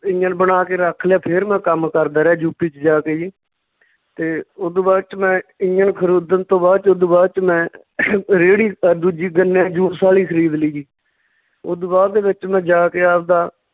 engine ਬਣਾ ਕੇ ਰੱਖ ਲਿਆ ਫਿਰ ਮੈਂ ਕੰਮ ਕਰਦਾ ਰਿਹਾ ਯੂਪੀ ਚ ਜਾ ਕੇ ਜੀ ਤੇ ਓਦੂ ਬਾਅਦ ਚ ਮੈਂ ਇੰਜਣ ਖਰੀਦਣ ਤੋਂ ਬਾਅਦ ਚ ਓਦੂ ਬਾਅਦ ਚ ਮੈਂ ਰੇਹੜੀ ਅਹ ਦੂਜੀ ਗੰਨੇ ਦੇ juice ਵਾਲੀ ਖਰੀਦ ਲਈ ਜੀ ਓਦੂ ਬਾਅਦ ਦੇ ਵਿੱਚ ਮੈਂ ਜਾ ਕੇ ਆਵਦਾ